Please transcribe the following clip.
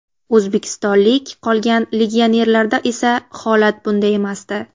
O‘zbekistonlik qolgan legionerlarda esa holat bunday emasdi.